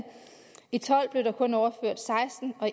i tolv blev der kun overført seksten og